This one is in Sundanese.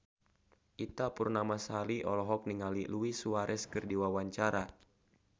Ita Purnamasari olohok ningali Luis Suarez keur diwawancara